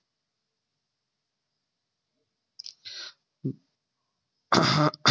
আহাহা